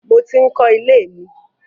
Mo ti ń kọ ilé mi.